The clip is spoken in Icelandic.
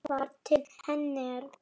Hann lítur sem snöggvast til hennar.